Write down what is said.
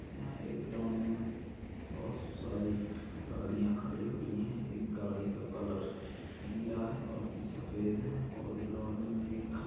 यहाँ एक ग्राउंड मे बहुत सारी गाड़िया खड़ी हुई है एक गाड़ी का कलर नीला है बाकी सफ़ेद है और ग्राउंड मे एक खम्बा--